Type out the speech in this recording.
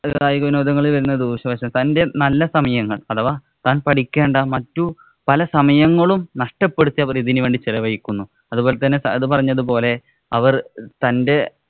കായിക വിനോദങ്ങളില്‍ വരുന്ന ദൂഷ്യ വശങ്ങള്‍ തന്‍റെ നല്ല സമയങ്ങള്‍ അഥവാ താന്‍ പഠിക്കേണ്ട മറ്റു പല സമയങ്ങളും, നഷ്ടപ്പെടുത്തി അവര്‍ ഇതിനു വേണ്ടി ചെലവഴിക്കുന്നു. അതുപോലെ തന്നെ സഹദ് പറഞ്ഞത് പോലെ അവര്‍ തന്‍റെ